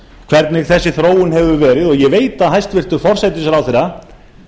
hvernig þessi þróun hefur verið og ég veit að hæstvirtur forsætisráðherra